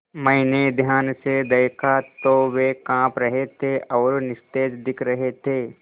मैंने ध्यान से दखा तो वे काँप रहे थे और निस्तेज दिख रहे थे